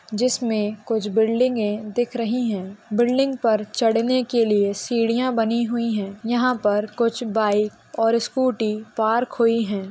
जिसमे कुछ बिल्डिंगे दिख रही है बिल्डिंग पर चढ़ने के लिए सीढिय़ा बनी हुई हैं यहाँ पर कुछ बाइक और स्कूटी पार्क हुई है।